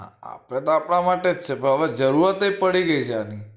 આપડે તો અપડા માટે જ છે પણ હવે એ જરૂરત એ પડી ગઈ છે આની